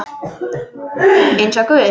Eins og guð?